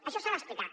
això s’ha d’explicar